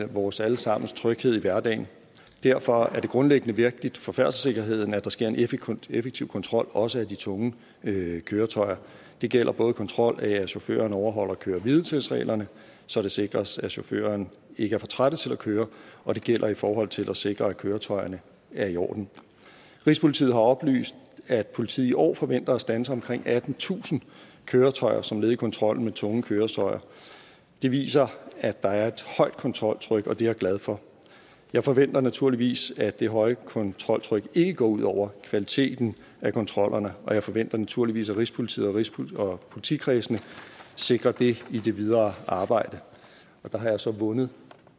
vores alle sammens tryghed i hverdagen derfor er det grundlæggende vigtigt for færdselssikkerheden at der sker en effektiv effektiv kontrol også af de tunge køretøjer det gælder både kontrol med at chaufførerne overholder køre hvile tids reglerne så det sikres at chaufførerne ikke er for trætte til at køre og det gælder i forhold til at sikre at køretøjerne er i orden rigspolitiet har oplyst at politiet i år forventer at standse omkring attentusind køretøjer som led i kontrollen med tunge køretøjer det viser at der er et højt kontroltryk og det er jeg glad for jeg forventer naturligvis at det høje kontroltryk ikke går ud over kvaliteten af kontrollerne og jeg forventer naturligvis at rigspolitiet rigspolitiet og politikredsene sikrer det i det videre arbejde og der har jeg så vundet